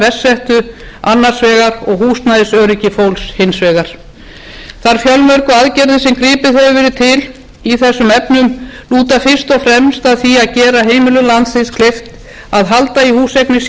verst settu annars vegar og húsnæðisöryggi fólks hins vegar þær fjölmörgu aðgerðir sem gripið hefur verið til í þessum efnum lúta fyrst og fremst að því að gera heimilum landsins kleift að halda í húseignir sínar á meðan